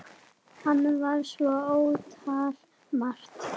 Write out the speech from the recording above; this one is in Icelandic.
Hann var svo ótal margt.